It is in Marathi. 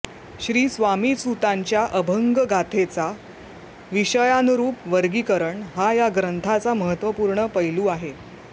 श्रीस्वामीसुतांच्या अभंगगाथेचे विषयानुरूप वर्गीकरण हा या ग्रंथाचा महत्त्वपूर्ण पैलू आहे